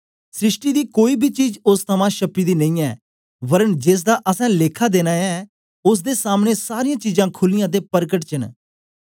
सृष्टि दी कोई बी चीज ओस थमां श्प्पी दी नेईयै वरन जेसदा असैं लेखा देना ऐ ओसदे सामने सारीयां चीजां खुलीयां ते परकट च न